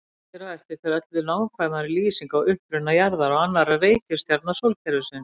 Hér á eftir fer öllu nákvæmari lýsing á uppruna jarðar og annarra reikistjarna sólkerfisins.